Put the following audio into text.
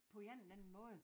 På en eller anden måde